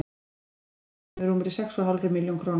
Sektin við því nemur rúmri sex og hálfri milljón króna.